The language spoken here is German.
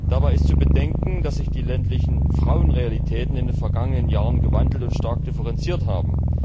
Dabei ist zu bedenken, dass sich die ländlichen Frauenrealitäten in den vergangenen Jahren gewandelt und stark differenziert haben.